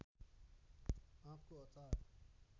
आँपको अचार